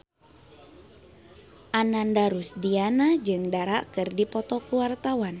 Ananda Rusdiana jeung Dara keur dipoto ku wartawan